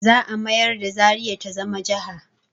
Za a mayar da zaria ta zama jaha